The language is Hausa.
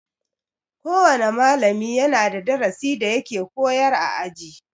Kowana malami yana da darasi da yake koyar a aji.